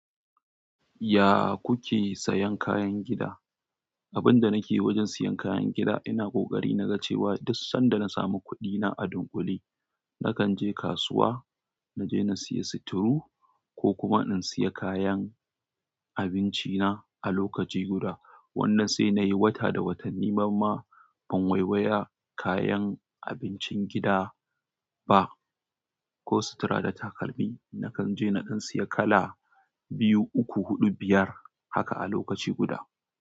Ya kuke sayan kayan gida? Abunda nake wajen siyan kayan gida ina ƙoƙari naga cewa duk sanda na samu kuɗina a dunƙule na kan je kasuwa naje nasiyo sutuwo ko kuma in siya kayan abinci na a lokaci guda. Wanda sai nayi wata da watanni ni mamma ban waiwaya kayan abincin gida ba, ko sutura da takalmi. Nakan je naɗan siya kala biyu, uku, huɗu, biyar haka a lokaci guda.